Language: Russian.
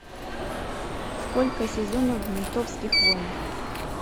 сколько сезонов в ментовских войнах